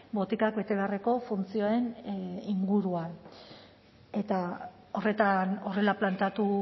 botikak bete beharreko funtzioen inguruan eta horrela planteatu